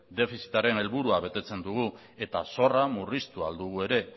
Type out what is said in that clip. defizitaren helburua betetzen dugu eta zorra murriztu al dugu ere